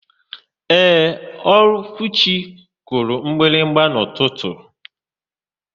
Ee, Okwuchi kụrụ mgbịrịgba n'ụtụtụ.